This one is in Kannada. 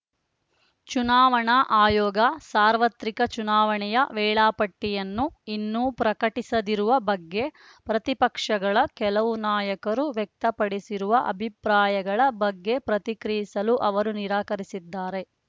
ಚುನಾವಣಾ ಆಯೋಗ ಸಾರ್ವತ್ರಿಕ ಚುನಾವಣೆಯ ವೇಳಾಪಟ್ಟಿಯನ್ನು ಇನ್ನೂ ಪ್ರಕಟಿಸದಿರುವ ಬಗ್ಗೆ ಪ್ರತಿಪಕ್ಷಗಳ ಕೆಲವು ನಾಯಕರು ವ್ಯಕ್ತಪಡಿಸಿರುವ ಅಭಿಪ್ರಾಯಗಳ ಬಗ್ಗೆ ಪ್ರತಿಕ್ರಿಯಿಸಲು ಅವರು ನಿರಾಕರಿಸಿದ್ದಾರೆ